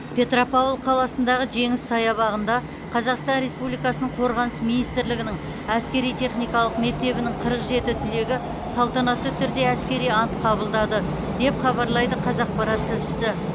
петропавл қаласындағы жеңіс саябағында қазақстан республикасының қорғаныс министрлігінің әскери техникалық мектебінің қырық жеті түлегі салтанатты түрде әскери ант қабылдады деп хабарлайды қазақпарат тілшісі